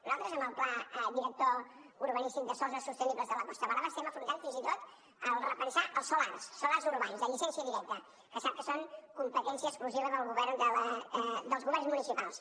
nosaltres amb el pla director urbanístic de sòls no sostenibles de la costa brava estem afrontant fins i tot el repensar els solars els solars urbans de llicència directa que sap que són competència exclusiva dels governs municipals